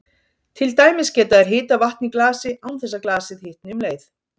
Til dæmis geta þær hitað vatn í glasi án þess að glasið hitni um leið.